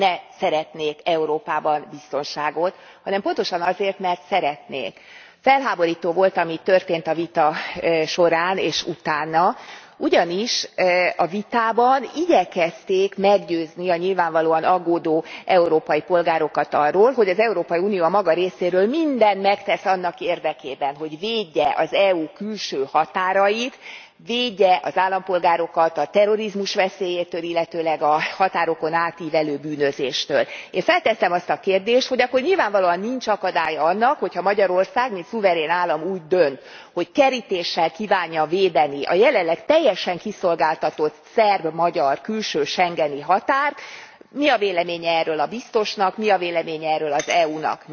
Elnök Úr, az európai biztonsági stratégiáról szóló jelentést nem azért nem támogattam, mert nem szeretnék Európában biztonságot, hanem pontosan azért, mert szeretnék. Felháborító volt, ami a vita során és utána történt, ugyanis a vitában igyekezték meggyőzni a nyilvánvalóan aggódó európai polgárokat arról, hogy az Európai Unió a maga részéről mindent megtesz annak érdekében, hogy védje az EU külső határait, védje az állampolgárokat a terrorizmus veszélyétől, illetőleg a határokon átívelő bűnözéstől. Én feltettem a kérdést, hogy akkor nyilvánvalóan nincs akadálya annak, hogy ha Magyarország mint szuverén állam úgy dönt, hogy kerítéssel kívánja védeni a jelenleg teljesen kiszolgáltatott szerb magyar külső schengeni határt, és mi a véleménye erről a biztosnak, mi a véleménye erről az EU nak.